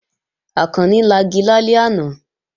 Àkànni lagi lálẹ́ àná